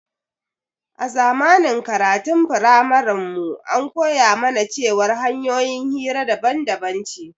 A zamanin karatun framarin mu an koya mana cewar hanƴoyin hira daban daban ce